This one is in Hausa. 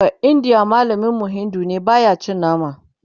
baindiyan mallamin mu Hindi ne baya cin nama